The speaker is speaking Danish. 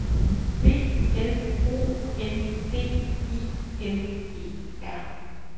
B L O N D I N E R